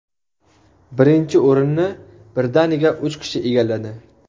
Birinchi o‘rinni birdaniga uch kishi egalladi .